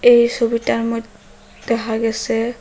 এই সবিটার মইধ্যে দেহা গেসে--